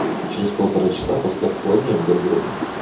через полтора часа поставь холоднее в гардеробной